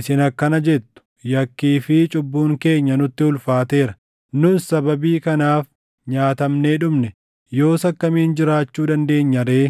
‘Isin akkana jettu: “Yakkii fi cubbuun keenya nutti ulfaateera; nuus sababii kanaaf nyaatamnee dhumne. Yoos akkamiin jiraachuu dandeenya ree?” ’